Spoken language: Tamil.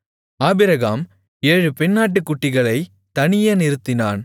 ஆபிரகாம் ஏழு பெண்ணாட்டுக்குட்டிகளைத் தனியே நிறுத்தினான்